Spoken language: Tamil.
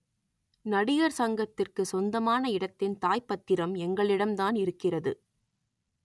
நடிகர் சங்கத்திற்கு சொந்தமான இடத்தின் தாய் பத்திரம் எங்களிடம்தான் இருக்கிறது